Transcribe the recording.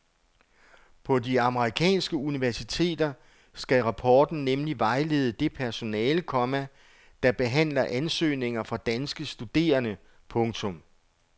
På de amerikanske universiteter skal rapporten nemlig vejlede det personale, komma der behandler ansøgninger fra danske studerende. punktum